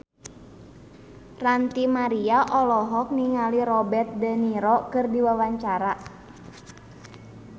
Ranty Maria olohok ningali Robert de Niro keur diwawancara